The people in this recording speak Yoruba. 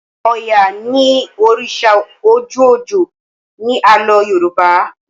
oya ní òrìṣà ojú ojo ní Àló̩ yoruba